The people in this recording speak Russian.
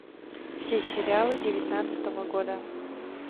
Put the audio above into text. все сериалы девятнадцатого года